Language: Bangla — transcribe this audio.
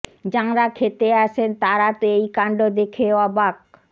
যাঁরা খেতে আসেন তাঁরা তো এই কাণ্ড দেখে অবাক